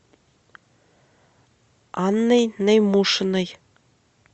анной наймушиной